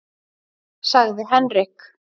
sagði Henrik.